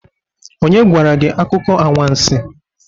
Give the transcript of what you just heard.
Onye gwara gi akuko anwansi?